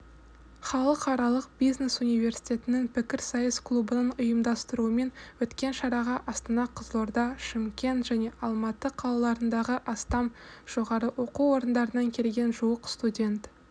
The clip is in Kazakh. халықаралық бизнес университетінің пікірсайыс клубының ұйымдастыруымен өткен шараға астана қызылорда шымкент және алматы қалаларындағы астам жоғары оқу орындарынан келген жуық студент